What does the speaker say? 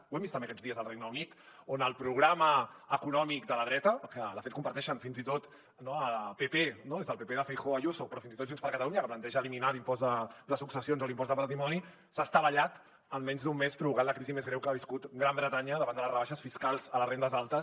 ho hem vist també aquests dies al regne unit on el programa econòmic de la dreta que de fet comparteixen fins i tot el pp des del pp de feijóo a ayuso però fins i tot junts per catalunya que planteja eliminar l’impost de successions o l’impost de patrimoni s’ha estavellat en menys d’un mes provocant la crisi més greu que ha viscut gran bretanya davant de les rebaixes fiscals a les rendes altes